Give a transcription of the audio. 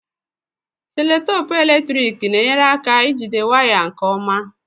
Seloteepu eletrik na-enyere aka ijide wires nke ọma.